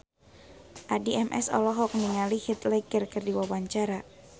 Addie MS olohok ningali Heath Ledger keur diwawancara